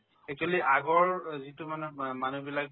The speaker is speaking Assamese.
actually আগৰ যিটো মানে অ মানুহবিলাক